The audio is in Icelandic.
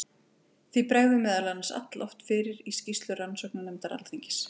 Því bregður meðal annars alloft fyrir í skýrslu rannsóknarnefndar Alþingis.